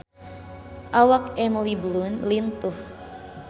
Awak Emily Blunt lintuh